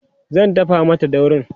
dafa Mata daurin!